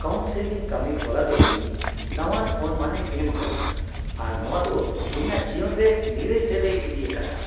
Counselling ᱠᱟᱹᱢᱤ ᱦᱚᱨᱟ ᱫᱚ ᱤᱧ ᱱᱟᱣᱟᱱ ᱚᱱᱢᱟᱱᱮ ᱮᱢ ᱟᱠᱟᱫᱤᱧᱟᱹ ᱟᱨ ᱱᱚᱶᱟ ᱫᱚ ᱤᱧᱟᱹᱜ ᱡᱤᱭᱚᱱ ᱨᱮ ᱱᱤᱨᱟᱹᱭ ᱥᱮᱫ ᱮ ᱤᱫᱤ ᱟᱠᱟᱫᱟ ᱾